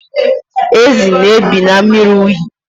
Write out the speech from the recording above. Ezi na-ebi na mmiri unyi.